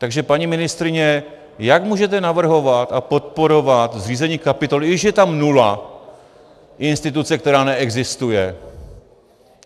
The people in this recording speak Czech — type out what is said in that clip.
Takže paní ministryně, jak můžete navrhovat a podporovat zřízení kapitoly - i když je tam nula - instituce, která neexistuje.